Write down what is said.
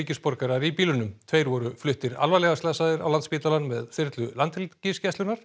ríkisborgarar í bílunum tveir voru fluttir alvarlega slasaðir á Landspítalann með þyrlu Landhelgisgæslunnar